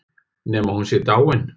Nema hún sé dáin.